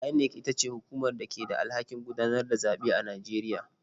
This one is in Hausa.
INEC ita ce hukumar da ke da alhakin gudanar da zaɓe a Najeriya.